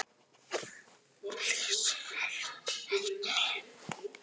Áhrifin sambærileg en efnin skaðlegri